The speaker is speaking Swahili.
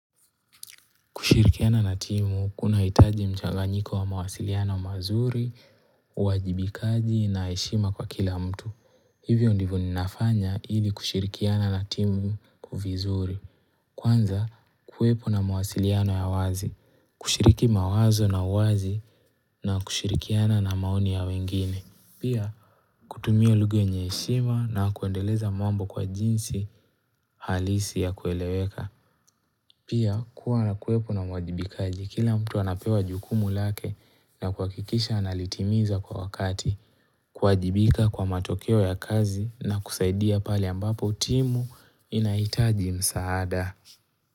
Kushirikiana na timu, kunahitaji mchanganyiko wa mawasiliano mazuri, uwajibikaji na heshima kwa kila mtu. Hivyo ndivo ninafanya ili kushirikiana na timu vizuri. Kwanza, kuwepo na mawasiliano ya wazi. Kushiriki mawazo na uwazi na kushirikiana na maoni ya wengine. Pia, kutumia lugha yenye heshima na kuendeleza mambo kwa jinsi halisi ya kueleweka. Pia kuwa na kuwepo na mwajibikaji kila mtu anapewa jukumu lake na kuhakikisha analitimiza kwa wakati, kuwajibika kwa matokeo ya kazi na kusaidia pale ambapo timu inahitaji msaada.